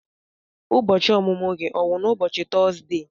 Ụbọchị ọmụmụ gị ọ wụ n'ubochi Tọzdee?